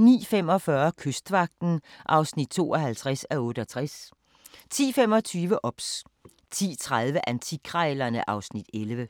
09:45: Kystvagten (52:68) 10:25: OBS 10:30: Antikkrejlerne (Afs. 11)